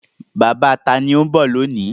Bàbá ta ni ó ń bọ̀ lónìí?